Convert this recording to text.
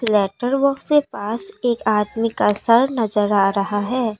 Letter box के पास एक आदमी का सर नजर आ रहा है।